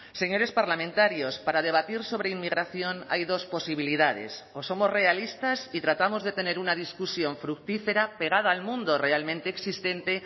señores parlamentarios para debatir sobre inmigración hay dos posibilidades o somos realistas y tratamos de tener una discusión fructífera pegada al mundo realmente existente